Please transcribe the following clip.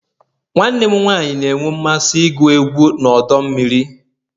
Nwanne m nwanyị na-enwe mmasị igwu egwu na ọdọ mmiri